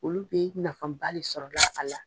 Olu bɛ nafanba de sɔrɔ la a la.